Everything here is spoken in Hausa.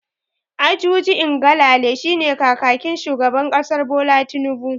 Ajuri Ngalale shine kakakin shugaban kasar Bola Tinnubu.